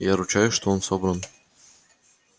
я ручаюсь что он собран